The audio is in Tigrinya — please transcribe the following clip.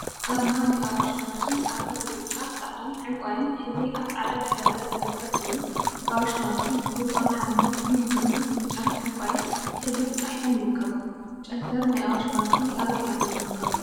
አርማ ናይ አዋሽ ባንኪ አራ ብብጫ፣ ፃዕዳን ዕንቋይን ሕብሪ አብ ፃዕዳ ድሕረ ገፅ ዝርከብ ኮይኑ፤ አዋሽ ባንኪ ዝብል ብአምሓርኛን እንግሊዘኛን ብጫን ዕንቋይን ሕብሪ ተፃሒፎም ይርከቡ፡፡ ጨንፈር ናይ አዋሽ ባንኪ አበይ አበይ ይርከቡ?